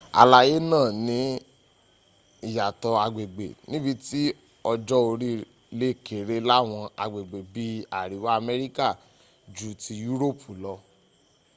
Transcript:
àlàyé náà ní ìyàtọ̀ agbègbè nibití ọjọ́ orí le kéré láwọn agbègbè bí i àríwá amẹ́ríkà jú ti yúròpù lọ